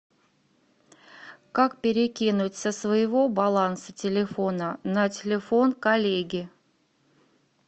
как перекинуть со своего баланса телефона на телефон коллеги